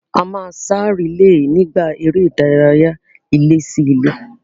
A máa sá rìílè nígbà eré ìdárayá ilé-sí-ilé